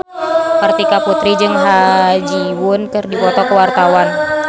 Kartika Putri jeung Ha Ji Won keur dipoto ku wartawan